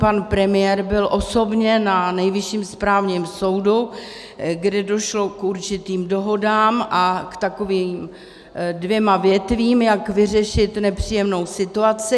Pan premiér byl osobně na Nejvyšším správním soudu, kde došlo k určitým dohodám a k takovým dvěma větvím, jak vyřešit nepříjemnou situaci.